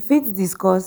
you fit discuss